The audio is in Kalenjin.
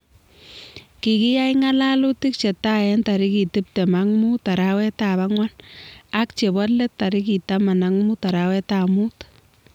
Kikiyai ng'alalutik che tai eng tarik tiptem ak muut arawetab ang'wan ak chebo let tarik taman ak muut arawetab muut .